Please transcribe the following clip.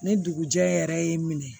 Ni dugujɛ yɛrɛ y'i minɛ